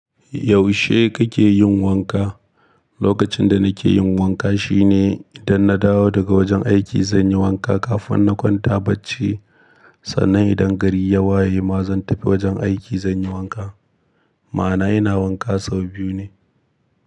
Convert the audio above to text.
Yaushe kake yin wanka? Lokacin da nake yin wanka shine idan na dawo daga wajen aiki zan yi wanka kafin na kwanta bacci. Sannan idan gari ya waye ma zan tafi wajen aiki zan yi wanka. Ma'ana ina wanka sau biyu ne.